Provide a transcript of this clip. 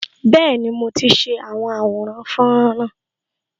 Bẹẹni, mo ti ṣe àwọn àwòrán fọ́nrán náà